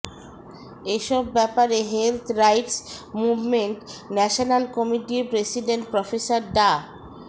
এসব ব্যাপারে health rights movement national কমিটির প্রেসিডেন্ট প্রফেসর ডা